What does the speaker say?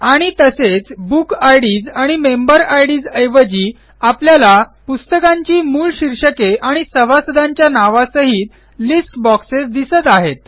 आणि तसेच book IDs आणि मेंबर आयडीएस ऐवजी आपल्याला पुस्तकांची मूळ शीर्षके आणि सभासदांच्या नावांसहित लिस्ट बॉक्सेस दिसत आहेत